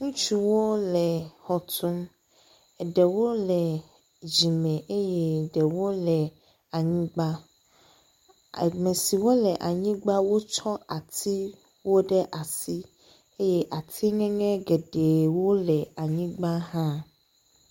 Ŋutsuwo le xɔ tum eɖewole dzime eye ɖewo le anyigba. Ame siwo le anyigba wotsɔ atiwo ɖe asi eye ati ŋeŋe geɖewo le anyigaba hã.